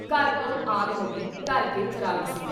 “ਘਰ ਕੋ ਆਗ ਲਗੀ ਘਰ ਕੇ ਚਰਾਗ ਸੇ।